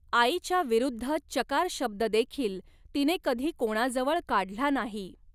आईच्याविरुद्ध चकार शब्ददेखील तिने कधी कोणाजवळ काढला नाही.